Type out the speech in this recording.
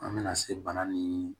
An bɛna se bana ni